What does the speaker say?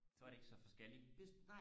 så er det ikke så forskelligt